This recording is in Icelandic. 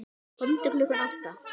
Komdu klukkan átta.